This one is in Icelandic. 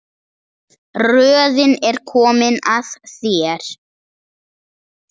Röðin er komin að þér.